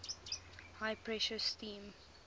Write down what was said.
high pressure steam